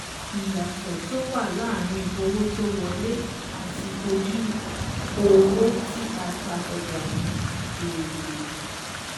Ìyàtọ̀ tó wà láàárín owó tó wọlé àti ojú owó tí a ta ọjà ni èrè.